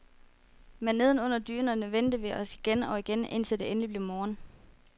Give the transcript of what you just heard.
Men neden under dynerne vendte vi os igen og igen, indtil det endelig blev morgen.